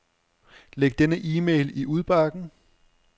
Læg denne e-mail i udbakken.